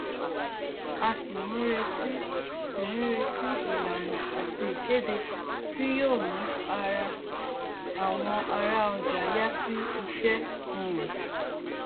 a sì ń retí sì ń retí ìlànà àti ìkéde tí yóò mú ará àwọn ará ọjà yà sí ìṣe um